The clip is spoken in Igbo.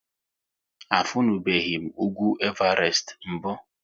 A funubeghi m ugwu Evarest mbụ?